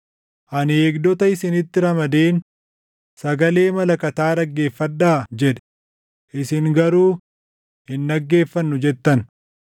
Ani eegdota isinitti ramadeen ‘Sagalee malakataa dhaggeeffadhaa!’ jedhe, isin garuu, ‘Hin dhaggeeffannu’ jettan.